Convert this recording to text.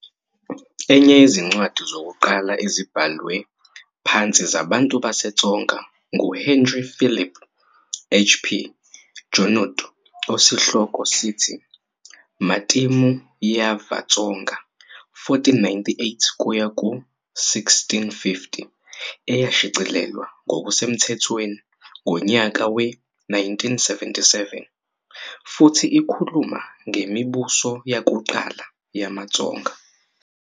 Enye yezincwadi zokuqala ezibhalwe phansi zabantu baseTsonga nguHenri Philipe, HP, Junod osihloko "sithi "Matimu ya Vatsonga 1498-1650" " eyashicilelwa ngokusemthethweni ngonyaka we-1977, futhi ikhuluma ngemibuso yakuqala yamaTsonga.